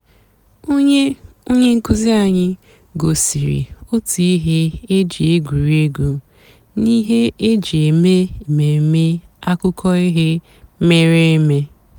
ónyé ónyé ǹkụ́zí ànyị́ gosìrí ótú íhé é jì ègwùrí ègwú n'íhé é jì èmèé èmèmé àkụ́kọ̀ íhé mèéré èmé.